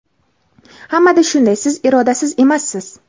Hammada shunday, siz irodasiz emassiz.